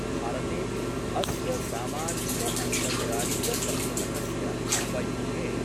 भारतेपि अस्य सामाजिकअन्तर्जालीयसम्पुटकस्य उपयोगे